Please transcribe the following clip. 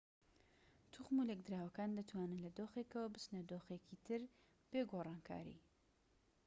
توخم و لێکدراوەکان دەتوانن لە دۆخێکەوە بچنە دۆخێکی تر بێ گۆڕانکاری